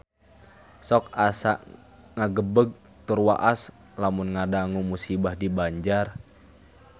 Sok asa ngagebeg tur waas lamun ngadangu musibah di Banjar